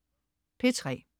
P3: